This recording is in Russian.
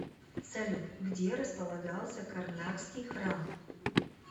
салют где располагался карнакский храм